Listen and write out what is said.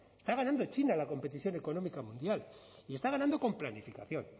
está ganando china la competición económica mundial y está ganando con planificación